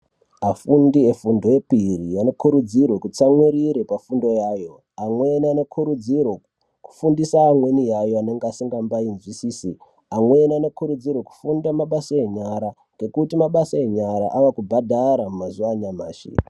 Afundi efundo yepiri anokurudzirwe kutsamwirire pafundo yayo. Amweni anokurudzirwa kufundise amweni avo anenge asingambai zwisisi. Amweni anokurudzirwa kufunda mabasa enyara ngekuti mabasa enyara ava kubhadhara mazuwa anyamashi.